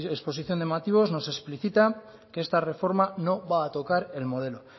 exposición de motivos nos explicita que esta reforma no va a tocar el modelo